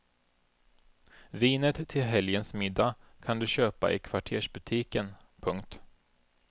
Vinet till helgens middag kan du köpa i kvartersbutiken. punkt